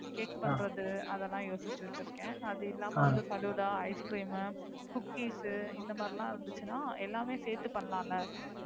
Cake பண்றது அதெல்லாம் யோசிச்சு வைச்சிருக்கேன். அது இல்லாம Falooda ice cream cookies இந்த மாதிரிலா இருந்துச்சுன்னா எல்லாமே சேர்த்து பண்ணலால